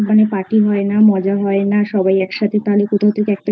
Party হয় না মজা হয় না সবাই একসাথে তাহলে কোথাও থেকে একটা